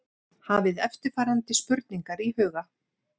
Hafið eftirfarandi spurningar í huga